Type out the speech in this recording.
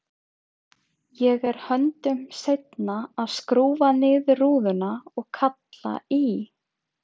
Ég er höndum seinni að skrúfa niður rúðuna og kalla í